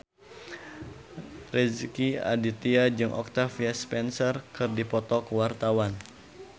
Rezky Aditya jeung Octavia Spencer keur dipoto ku wartawan